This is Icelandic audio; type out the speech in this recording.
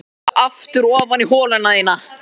Skríddu aftur ofan í holuna þína.